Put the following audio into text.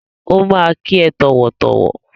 Ó máa kí ẹ tọ̀wọ̀tọ̀wọ̀.